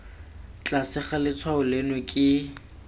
tlase ga letshwao leno ke